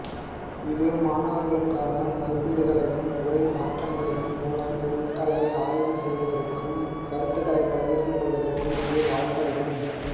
இது மாணவர்களுக்கான மதிப்பீடுகளையும் உரை மாற்றங்களையும் மூலம் பொருட்களை ஆய்வு செய்வதற்கும் கருத்துக்களை பகிர்ந்து கொள்வதற்கும் இது வாய்ப்பளிக்கும்